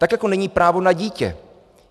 Tak jako není právo na dítě.